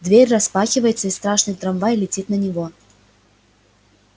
дверь распахивается и страшный трамвай летит на него